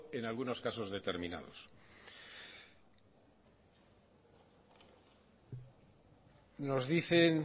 en algunos casos determinados nos dicen